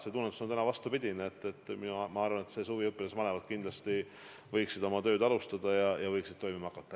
Tunnetus on täna vastupidine: ma arvan, et ka see suvi õpilasmalevad võiksid tööle hakata.